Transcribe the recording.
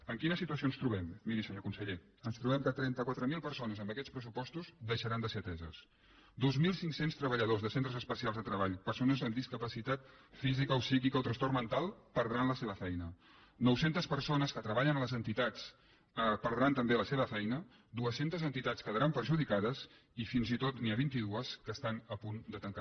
en quina situació ens trobem miri senyor conseller ens trobem que trenta quatre mil persones amb aquests pressupostos deixaran de ser ateses dos mil cinc cents treballadors de centres especials de treball persones amb discapacitat física o psíquica o trastorn mental perdran la seva feina nou cents persones que treballen a les entitats perdran també la seva feina dos cents entitats quedaran perjudicades i fins i tot n’hi ha vint dos que estan a punt de tancar